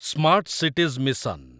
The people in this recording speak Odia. smart cities mission